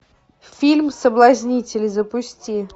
фильм соблазнитель запусти